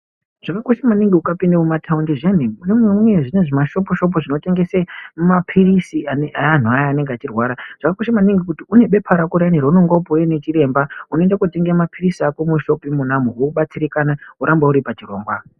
Zvakakosha maningi ukapinda mumataundi zviyani munee mune zvimwe zvimashopu-shopu zvinotengese maphirisi eanhu aya anenge achirwara. Zvakakosha maningi kuti unebepa rako riyani raunonga wapiwa ndichiremba unoende kootenga maphirisi ako mushopu imonamo wobatsirikana, woramba uri pachirongwa.